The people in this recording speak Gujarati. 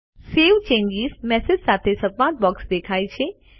સવે ચેન્જીસ મેસેજ સાથે સંવાદ બોક્સ દેખાય છે